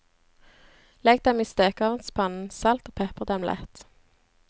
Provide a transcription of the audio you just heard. Legg dem i stekeovnspannen, salt og pepre dem lett.